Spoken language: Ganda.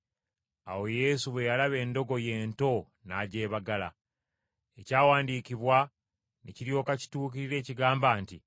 Awo Yesu bwe yalaba endogoyi ento n’agyebagala. Ekyawandiikibwa ne kiryoka kituukirira ekigamba nti,